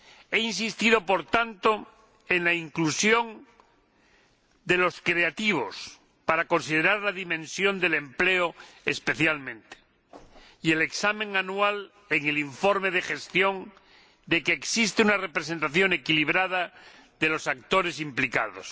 He insistido, por tanto, en la inclusión de las industrias creativas, para considerar la dimensión del empleo especialmente, así como de un examen anual en el informe de gestión que evalúe que existe una representación equilibrada de los actores implicados.